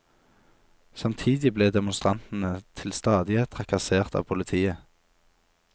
Samtidig ble demonstrantene til stadighet trakassert av politiet.